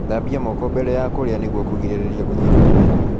Thambia moko mbere ya kurĩa nĩguo kugirĩrĩria kunyitwo ni mĩrimũ